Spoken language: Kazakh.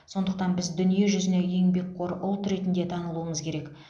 сондықтан біз дүниежүзіне еңбекқор ұлт ретінде танылуымыз керек